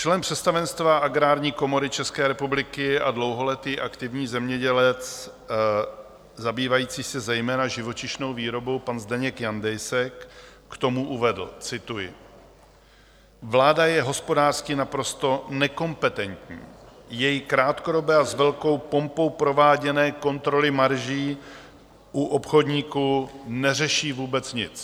Člen představenstva Agrární komory České republiky a dlouholetý aktivní zemědělec zabývající se zejména živočišnou výrobou, pan Zdeněk Jandejsek, k tomu uvedl, cituji: "Vláda je hospodářsky naprosto nekompetentní, její krátkodobé a s velkou pompou prováděné kontroly marží u obchodníků neřeší vůbec nic."